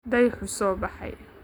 Dayaxu soo baxay